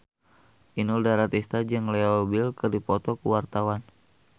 Inul Daratista jeung Leo Bill keur dipoto ku wartawan